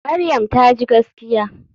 Maryam taji gaskiya.